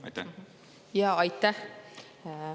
Aitäh!